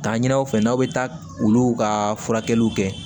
Taa ɲini aw fɛ n'aw bɛ taa olu ka furakɛliw kɛ